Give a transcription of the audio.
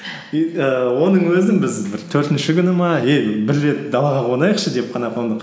и ііі оның өзін біз бір төртінші күні ма эй бір рет далаға қонайықшы деп қана қондық